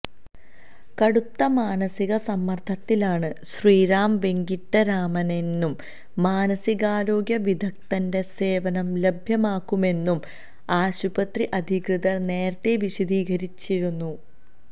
കടുത്ത മാനസിക സമ്മര്ദ്ദത്തിലാണ് ശ്രീറാം വെങ്കിട്ടരാമനെന്നും മാനസികാരോഗ്യ വിദഗ്ധന്റെ സേവനം ലഭ്യമാക്കുമെന്നും ആശുപത്രി അധികൃതര് നേരത്തെ വിശദീകരിച്ചിരുന്നു